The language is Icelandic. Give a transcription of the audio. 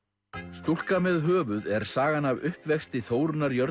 stúlka með höfuð er sagan af uppvexti Þórunnar